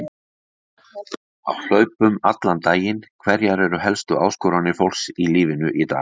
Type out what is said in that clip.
Á hlaupum allan daginn Hverjar eru helstu áskoranir fólks í lífinu í dag?